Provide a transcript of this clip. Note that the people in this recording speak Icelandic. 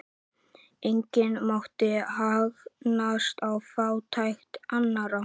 Enginn mátti hagnast á fátækt annarra.